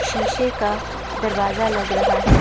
शीशे का दरवाजा लग रहा है।